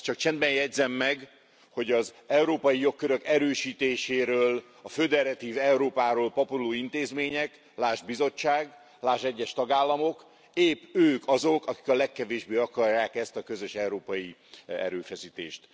Azt csak csendben jegyzem meg, hogy az európai jogkörök erősítéséről, a föderatív Európáról papoló intézmények lásd Bizottság, lásd egyes tagállamok épp ők azok, akik a legkevésbé akarják ezt a közös európai erőfeszítést.